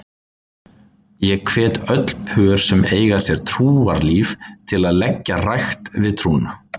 Ég hvet öll pör sem eiga sér trúarlíf til að leggja rækt við trúna.